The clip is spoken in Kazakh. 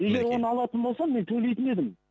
егер оны алатын болсам мен төлейтін едім